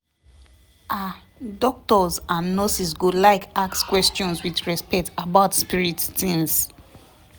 ah doctors and nurses go like ask questions with respect about spirit tings